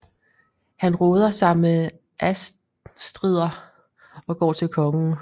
Han råder sig med Ástriðr og går til kongen